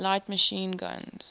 light machine guns